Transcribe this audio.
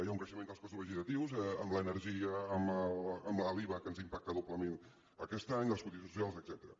hi ha un creixement dels costos vegetatius amb l’energia amb l’iva que ens impacta doblement aquest any les cotitzacions socials etcètera